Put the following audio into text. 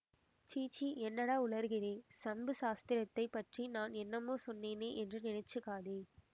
சீச்சி என்னடா உளறுகிறே சம்பு சாஸ்திரியை பற்றி நான் என்னமோ சொன்னேனே என்று நினைச்சுக்காதே